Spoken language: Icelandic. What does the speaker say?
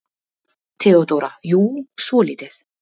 THEODÓRA: Jú, svolítið.